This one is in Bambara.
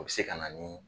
O bɛ se ka na ni